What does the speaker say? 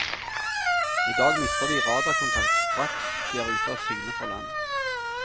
I dag mister de radarkontakt straks de er ute av syne fra land.